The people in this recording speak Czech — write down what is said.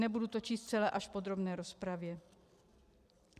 - Nebudu to číst celé, až v podrobné rozpravě.